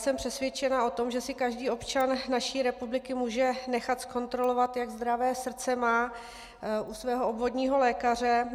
Jsem přesvědčena o tom, že si každý občan naší republiky může nechat zkontrolovat, jak zdravé srdce má, u svého obvodního lékaře.